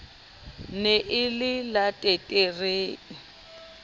ne e le la leteterre